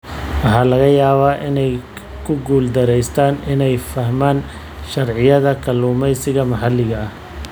Waxaa laga yaabaa inay ku guuldareystaan ??inay fahmaan sharciyada kalluumeysiga maxalliga ah.